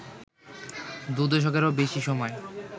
দু দশকেরও বেশি সময়